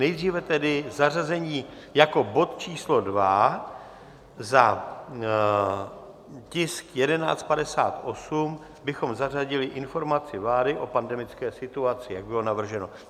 Nejdříve tedy zařazení jako bod číslo 2 za tisk 1158 bychom zařadili informaci vlády o pandemické situaci, jak bylo navrženo.